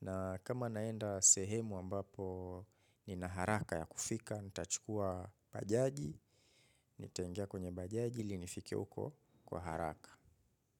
Na kama naenda sehemu ambapo nina haraka ya kufika, nita chukua bajaji, nita ingia kwenye bajaji ili nifike huko kwa haraka.